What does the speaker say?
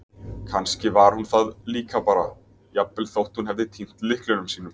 Kannski var hún það líka bara- jafnvel þótt hún hefði týnt lyklunum sínum.